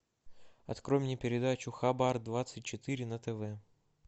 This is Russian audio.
открой мне передачу хабар двадцать четыре на тв